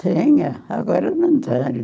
Tinha, agora não tem.